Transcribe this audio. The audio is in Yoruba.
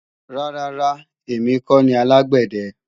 Rárá ra, èmi kọ́ ni alágbẹ̀dẹ